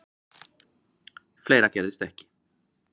Fleira gerðist ekki.